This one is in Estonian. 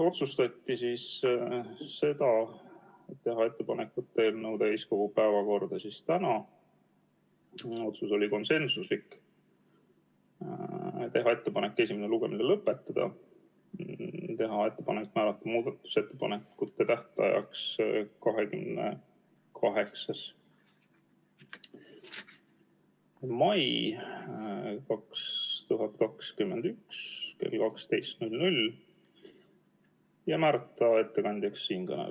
Otsustati teha ettepanek võtta eelnõu tänaseks täiskogu päevakorda , teha ettepanek esimene lugemine lõpetada, teha ettepanek määrata muudatusettepanekute tähtajaks 28. mai 2021 kell 12 ja määrata ettekandjaks siinkõneleja.